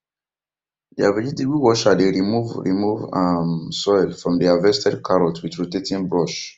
deir vegetable washer dey remove remove um soil from harvested carrot with rotating brush